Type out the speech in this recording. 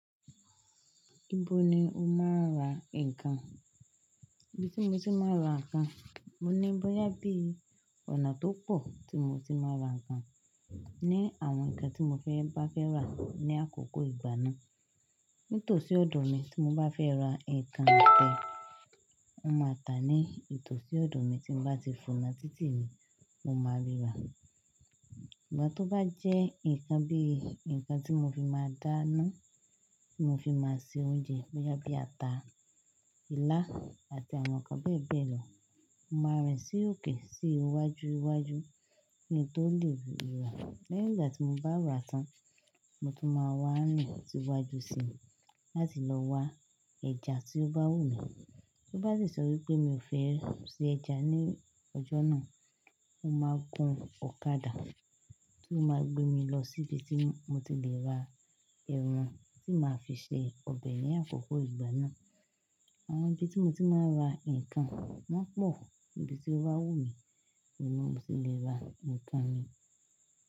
Ibo ni o máa ń ra nǹkan? Ibi tí mo ti máa ń ra nǹkan, mo ní bóyá bí ọ̀nà tó pọ̀ tí mo ti máa ń ra nǹkan ni àwọn nǹkan tí mo fẹ́ bá fẹ́ rà ní àkókò ìgbà náà. Nítòsí ọ̀dọ̀ mi tí mo bá fẹ́ ra nǹkan kan, mo máa tà á ní ìtòsí ọ̀dọ̀ mi tí n bá ti fòna títì mi mo máa ríra. Ṣùgbọ́n tó bá jẹ́ nǹkan bí i nǹkan tí mo fi máa dáná, tí mo fi máa se oúnjẹ bóyá bí ata, ilá àti àwọn nǹkan bẹ́ẹ̀ bẹ́ẹ̀ lọ, mo máa rìn sí òkè sí iwájú iwájú kí n tó le ríra. Lẹ́yìn ìgbà tí mo bá rà tán, mo tún máa wá rìn lọ síwájú sí láti lọ wá ẹja tí ó bá wù mí. Bí ó bá sì sọ wí pé mi ò fẹ́ se ẹja ní ọjọ́ náà, mo máa gun ọ̀kadà tí ó máa gbé mi lọ sí ibi tí mo ti lè ra ẹran tí màá fi se ọbẹ̀ ní àkókò ìgbà náà. Àwọn ibi tí mo ti máa ń ra nǹkan wọ́n pọ̀, ibi tí ó bá wù mí ni mo ti lè ra nǹkan mi.